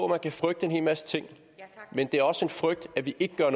man kan frygte en hel masse ting men det er også en frygt at vi ikke gør